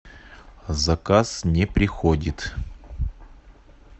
заказ не приходит